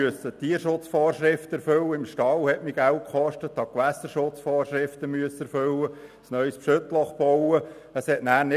Danach reichte es nicht mehr, um die Wohnungen auch noch zu sanieren.